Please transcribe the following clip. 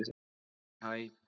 HÆ, hæ!